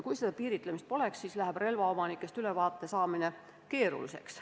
Kui sellist piiritlemist poleks, läheks relvaomanikest ülevaate saamine keeruliseks.